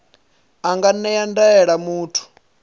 a nga ṅea ndaela muthu